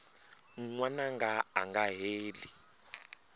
n wananga a nga heli